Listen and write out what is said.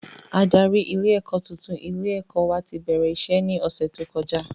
Adarí ilé ẹ̀kọ́ tuntun ilé ẹ̀kọ́ wa ti bẹ̀rẹ̀ iṣẹ́ ní ọ̀sẹ̀ tó kọjá